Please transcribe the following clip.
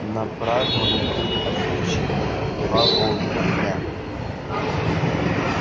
на празднования были отпущены два полных дня